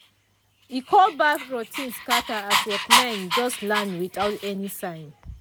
e cold baff routine scatter as workmen just land without any sign.